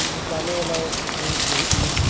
बूताने वाला एक ठे भी मशीन --